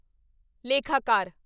ਲੇਖਾਕਾਰ